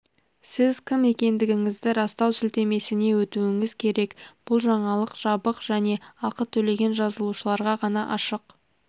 сіз кім екендігіңізді растау сілтемесіне өтуіңіз керек бұл жаңалық жабық және ақы төлеген жазылушыларға ғана ашық